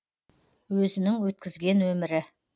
өзінің өткізген өмірі